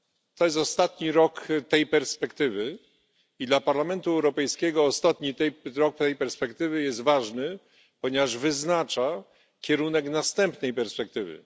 To jest ostatni rok tej perspektywy, a dla Parlamentu Europejskiego ostatni rok tej perspektywy jest ważny, ponieważ wyznacza kierunek następnej perspektywy.